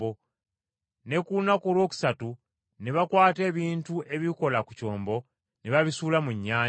Ne ku lunaku olwokusatu ne bakwata ebintu ebikola ku kyombo ne babisuula mu nnyanja.